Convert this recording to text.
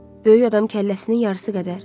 Böyük adam kəlləsinin yarısı qədər.